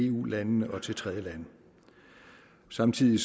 eu land og til tredjelande samtidig